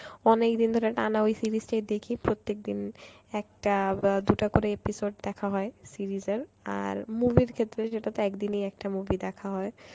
অনেকদিন ধরে টানা ওই series টাই দেখি প্রত্যেকদিন একটা বা দুটা করে episode দেখা হয় series এর movie এর ক্ষেত্রে সেটা তো একদিনেই একটা movie দেখা হয়